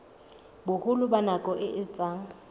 boholo ba nako e etsang